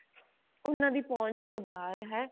ਉਹਨਾਂ ਦੀ ਪਹੁੰਚ ਤੋਂ ਬਾਹਰ ਹੈ